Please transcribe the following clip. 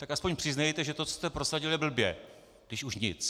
Tak aspoň přiznejte, že to, co jste prosadili, je blbě, když už nic.